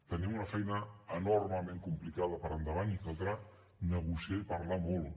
tenim una feina enormement complicada per endavant i caldrà negociar i parlar molt